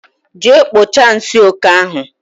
Jee kpocha nsị oké ahụ